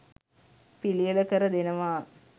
පිළියෙල කර දෙනවා.